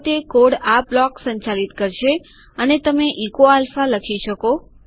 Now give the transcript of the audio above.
તો તે કોડ આ બ્લોક સંચાલિત કરશે અને તમે ઇકો આલ્ફા લખી શકો